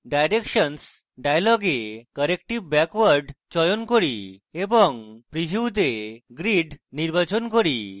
আমি directions dialog corrective backward চয়ন করি এবং preview তে grid নির্বাচন করি